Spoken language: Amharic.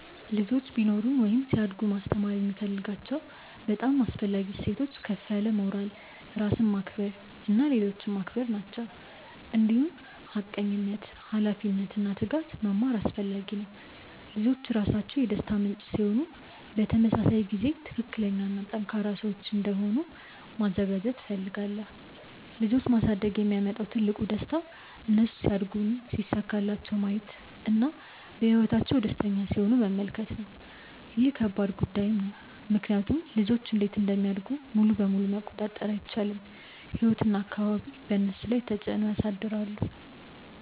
ልጆች ቢኖሩኝ ወይም ሲያድጉ ማስተማር የምፈልጋቸው በጣም አስፈላጊ እሴቶች ከፍ ያለ ሞራል፣ ራስን ማክበር እና ሌሎችን ማክበር ናቸው። እንዲሁም ሐቀኝነት፣ ኃላፊነት እና ትጋት መማር አስፈላጊ ነው። ልጆች ራሳቸው ደስታ ምንጭ ሲሆኑ በተመሳሳይ ጊዜ ትክክለኛ እና ጠንካራ ሰዎች እንዲሆኑ ማዘጋጀት እፈልጋለሁ። ልጆች ማሳደግ የሚያመጣው ትልቁ ደስታ እነሱ ሲያድጉ ሲሳካላቸው ማየት እና በህይወታቸው ደስተኛ ሲሆኑ መመልከት ነው። ይህ ከባድ ጉዳይም ነው ምክንያቱም ልጆች እንዴት እንደሚያድጉ ሙሉ በሙሉ መቆጣጠር አይቻልም፤ ህይወት እና አካባቢ በእነሱ ላይ ተፅዕኖ ያሳድራሉ።